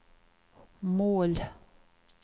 mål